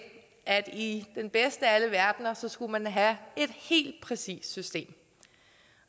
at i den bedste af alle verdener skulle man have et helt præcist system